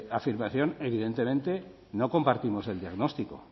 afirmación evidentemente no compartimos el diagnóstico